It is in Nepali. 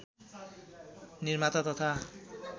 निर्माता तथा